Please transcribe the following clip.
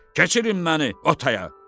keçirin məni o taya.